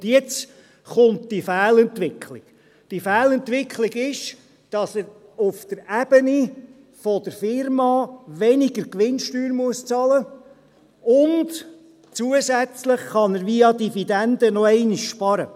Und jetzt kommt diese Fehlentwicklung: Die Fehlentwicklung ist, dass er auf der Ebene der Firma weniger Gewinnsteuer bezahlen muss, und zusätzlich kann er via Dividenden noch einmal sparen.